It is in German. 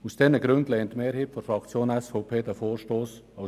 Aus diesen Gründen lehnt die Mehrheit der Fraktion SVP die Motion ab.